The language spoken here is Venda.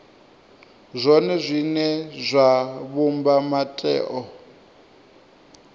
zwone zwine zwa vhumba mutheo